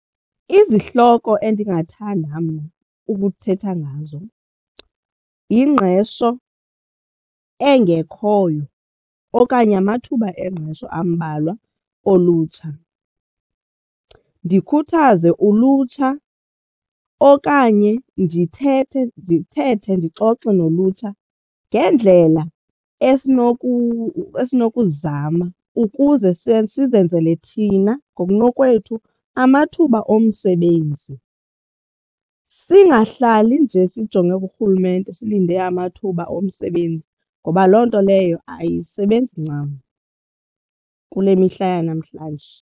Izihloko endingathanda mna ukuthetha ngazo yingqesho engekhoyo okanye amathuba engqesho ambalwa olutsha, ndikhuthaze ulutsha okanye ndithetha ndithethe ndixoxe nolutsha ngendlela esinokuzizama ukuze sike sizenzele thina ngokunokwethu amathuba omsebenzi singahlali nje sijonge kurhulumente silinde amathuba omsebenzi ngoba loo nto leyo ayisebenzi ncam kule mihla yanamhlanje.